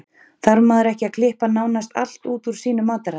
Þarf maður ekki að klippa nánast allt út úr sínu mataræði?